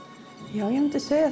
já ég myndi segja